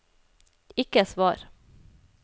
ikke svar